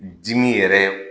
Dimi yɛrɛ